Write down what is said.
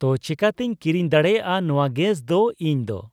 ᱛᱚ ᱪᱤᱠᱟᱹᱛᱤᱧ ᱠᱤᱨᱤᱧ ᱫᱟᱲᱮᱭᱟᱜᱼᱟ ᱱᱚᱣᱟ ᱜᱮᱥᱫᱚ ᱤᱧᱫᱚ